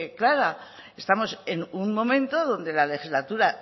clara estamos en un momento donde la legislatura